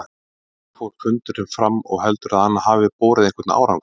Hvernig fór fundurinn fram og heldurðu að hann hafi borið einhvern árangur?